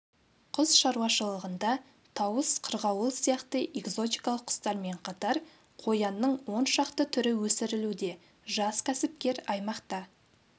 құс шаруашылығында тауыс қырғауыл сияқты экзотикалық құстармен қатар қоянның он шақты түрі өсірілуде жас кәсіпкер аймақта